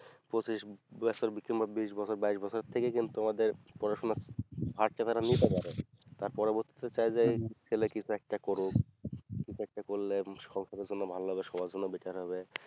পঁচিশ বছর কিংবা বিশ বছর বাইশ থেকে কিন্তু আমাদের পড়াশোনা ভার তা তারা নিতে পারে তার পরবর্তী তে চাই যে ছেলে কিছু একটি করুক কিছু একটা করলে সংসারের জন্য ভালো হবে সবার জন্য better হবে